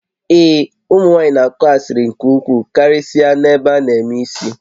Ee, ụmụ nwaanyị na-akụ asịrị nke ukwuu karịsịa na ụlọ ebe a na-eme isi